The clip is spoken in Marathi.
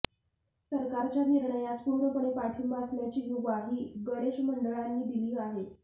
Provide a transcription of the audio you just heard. सरकारच्या निर्णयास पूर्णपणे पाठिंबा असल्याची ग्वाही गणेश मंडळांनी दिली आहे